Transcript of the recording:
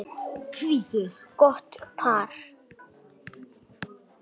Gott par.